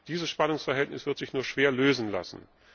Dieses Spannungsverhältnis wird sich nur schwer lösen lassen.